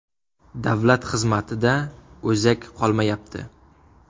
Davlat xizmatida o‘zak qolmayapti.